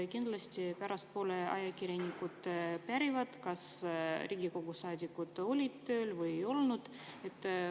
Kindlasti pärastpoole ajakirjanikud pärivad, kas Riigikogu saadikud olid tööl või ei olnud.